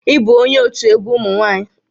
Ị bụ onye òtù egwu ụmụ nwa+nyị?